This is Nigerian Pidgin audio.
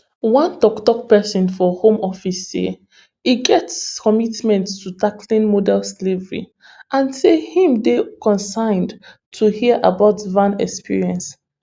one tok tok pesin for home office say e get strong commitment to tackling modern slavery and say im dey concerned to hear about van experience